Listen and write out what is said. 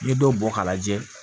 N'i ye dɔ bɔ k'a lajɛ